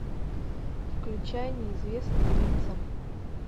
включай неизвестные лица